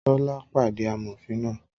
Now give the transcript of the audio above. Tọ́lá pàdé amòfin náà